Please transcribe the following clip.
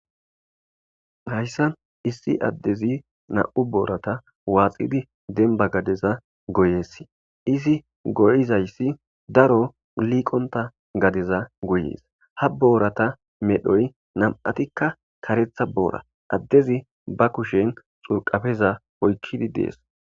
hayssan issi addezi na7u boorata waaxidi denba gadeza goyessi izi goyizayssi daro liiqonta gadeza goyees ha boorata medhoy nam7atikka karetha boora addezi ba kushen xurqafeza oykkidi dees